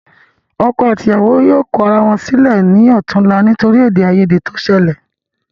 Ọkọ àti ìyàwó yóò kọ ara wọn sílẹ ní ọ̀túla nítorí ede ayede to sẹlẹ̀